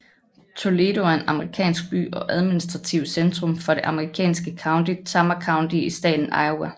Toledo er en amerikansk by og administrativt centrum for det amerikanske county Tama County i staten Iowa